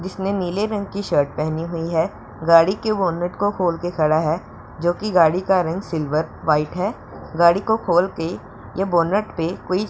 जिसने नीले रंग की शर्ट पहनी हुई है गाड़ी के बोनट को खोल के खडा है जो कि गाड़ी का रंग सिल्वर व्हाइट है गाडी को खोल के ये बोनट पे कोई --